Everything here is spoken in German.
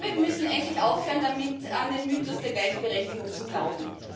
Wir müssen endlich aufhören damit, an den Mythos der Gleichberechtigung zu glauben